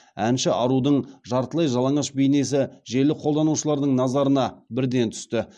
әнші арудың жартылай жалаңаш бейнесі желі қолданушыларының назарына бірден түсті